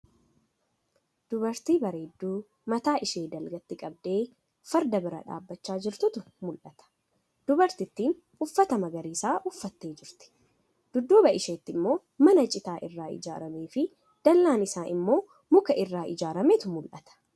Dubartii bareedduu mataa ishee dalgaatti qabdee farda bira dhaabbachaa jirtutu mul'ata. Dubartittiin uffata magariisa uffattee jirti. Dudduuba isheetti immoo mana citaa irraa ijaaramee fii dallaan isaa immoo mukaa irraa ijaarameetu mul'ata.